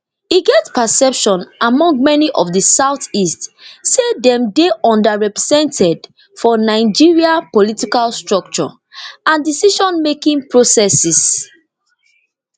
e get perception among many for di southeast say dem dey underrepresented for nigeria political structure and decisionmaking processes